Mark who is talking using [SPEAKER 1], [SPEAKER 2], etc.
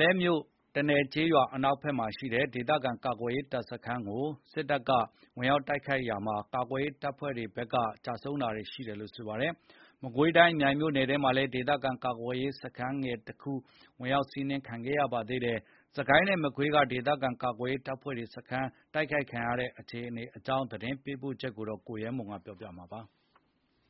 [SPEAKER 1] လဲမြို့ တနယ်ကျေးရွာ အနောက်ဖက်မှာရှိတဲ့ ဒေသခံကာကွယ်ရေး တပ်စခန်းကို စစ်တပ်က ဝင်စီးတာမှာ ကာကွယ်ရေး တပ်ဖွဲ့တွေဘက်က သေဆုံးတာတွေ ရှိခဲ့ပါတယ်။ မကွေးတိုင်း မြိုင်မြို့နယ်ထဲမှာလည်း ဒေသခံကာကွယ်ရေး စခန်းငယ်တခု စီးနင်း ခံခဲ့ရပါသေးတယ်။ စစ်ကိုင်းနဲ့မကွေးက ဒေသခံကာကွယ်ရေးတပ်ဖွဲ့ စခန်းတွေ စီးနင်းခံရတဲ့ အခြေအနေအကြောင်း သတင်းပေးပို့ချက်ကို အခြေခံပြီး ကိုရဲမွန်က ပြောပြပါမယ်။